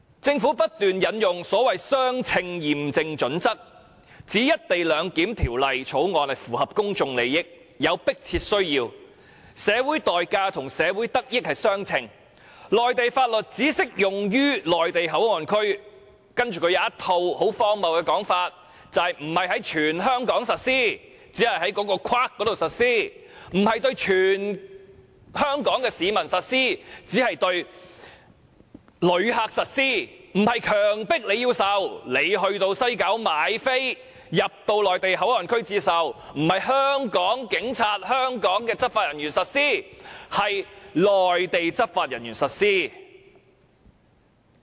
政府不斷引用所謂的相稱驗證準則，指《條例草案》符合公眾利益，有迫切需要，社會代價與得益相稱，內地法律只適用於內地口岸區，並荒謬地指內地法律不是在全香港實施，僅是在指定範圍內實施而已；不會對全香港市民實施，只會對旅客實施；不會迫所有人接受，只是那些在西九站購票進入內地口岸區的人才要接受；不是由香港的警察或執法人員實施，而是由內地的執法人員實施。